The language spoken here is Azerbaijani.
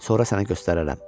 Sonra sənə göstərərəm.